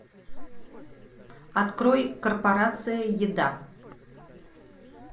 открой корпорация еда